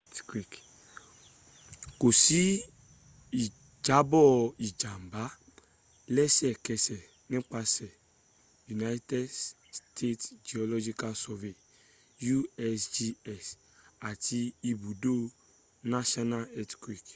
kò sí ìjàbọ̀ ìjàmbá lẹsẹ̀kẹsẹ̀ ́nípasẹ̀ united states geological survey usgs àti ibùdó national earthquake